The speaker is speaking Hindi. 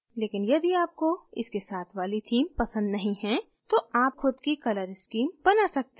लेकिन यदि आपको इसके साथ वाली थीम पसंद नहीं हैं तो आप खुद की color स्कीम बना सकते हैं